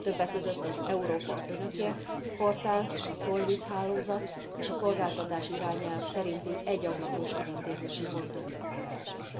Többek között az Európa Önökért portál, a SOLVIT hálózat és a szolgáltatási irányelv szerinti egyablakos ügyintézési pontok létrehozása.